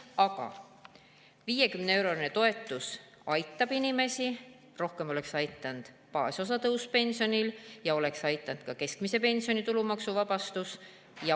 Aga ehkki 50-eurone toetus küll aitab inimesi, oleks rohkem aidanud pensioni baasosa tõus ja ka keskmise pensioni tulumaksuvabastus.